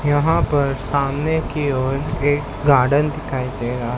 यहां पर सामने की ओर एक गार्डन दिखाई दे रहा--